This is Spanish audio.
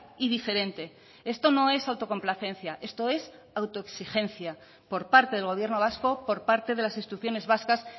y diferente esto no es autocomplacencia esto es autoexigencia por parte del gobierno vasco por parte de las instituciones vascas